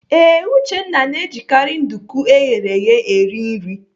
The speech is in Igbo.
Ee, Uchenna na-ejikarị nduku eghere eghe eri nri.